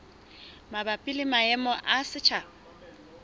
mabapi le maemo a setjhaba